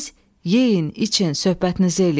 Siz yeyin, için, söhbətinizi eləyin.